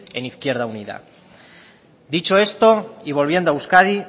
en izquierda unida dicho esto y volviendo a euskadi